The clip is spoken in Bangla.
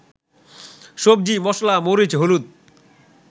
সবজি, মসলা, মরিচ, হলুদ